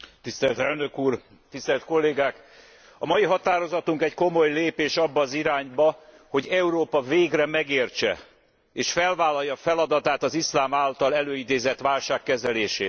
Elnök Úr, tisztelt Kollégák, a mai határozatunk egy komoly lépés abba az irányba, hogy Európa végre megértse és felvállalja feladatát az iszlám által előidézett válság kezelésében.